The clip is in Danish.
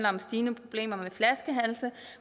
om stigende problemer med flaskehalse